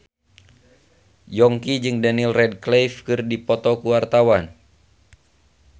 Yongki jeung Daniel Radcliffe keur dipoto ku wartawan